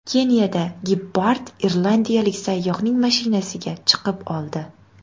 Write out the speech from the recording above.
Keniyada gepard irlandiyalik sayyohning mashinasiga chiqib oldi .